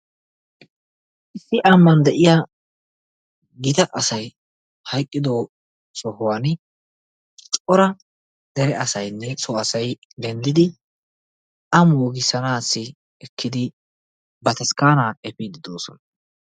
Nu ambbaan de'iya gita asay hayqqiddo sohuwan cora dere asaynne so asay denddidi a moogissanasi ekkidi ba taskkana efiidi de'oosona.